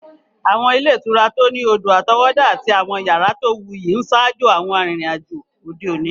Àwọn ilé ìtura tó ní odò-àtọwọ́dá àti àwọn yàrá tó wuyì ń ṣaájò àwọn arìnrìn-àjò òde òní.